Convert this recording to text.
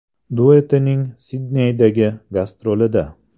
duetining Sidneydagi gastrolida.